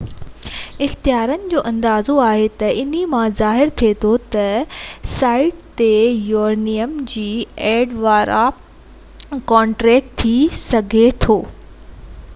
اختيارين جو اندازو آهي ته انهي مان ظاهر ٿئي ٿو ته سائيٽ تي يورينيم جي ايندڻ وارا ڪنٽينر ٿي سگهي ٿو ٽٽي ويا آهن ۽ ليڪ ڪري رهيا آهن